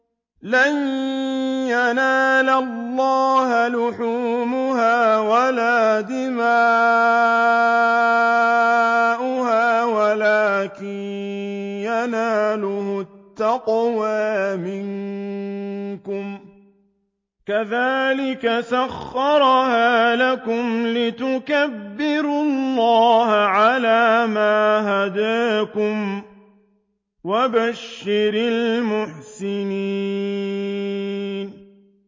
لَن يَنَالَ اللَّهَ لُحُومُهَا وَلَا دِمَاؤُهَا وَلَٰكِن يَنَالُهُ التَّقْوَىٰ مِنكُمْ ۚ كَذَٰلِكَ سَخَّرَهَا لَكُمْ لِتُكَبِّرُوا اللَّهَ عَلَىٰ مَا هَدَاكُمْ ۗ وَبَشِّرِ الْمُحْسِنِينَ